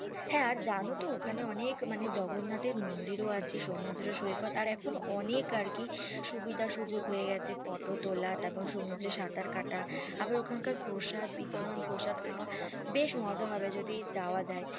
হ্যাঁ আর যেন তো ওখানে অনেক মানে জগন্নাথ এর মন্দির ও আছে সমুদ্র সৈকত আর এখন অনেক আর কি সুবিধা সুযোগ হয়ে গেছে photo তোলা এবং সমুদ্রে সাঁতার কাটা আবার ওখান কার প্রসাদ বিতরণ প্রসাদ খাওয়া বেশ মজা হবে যদি যাওয়া যাই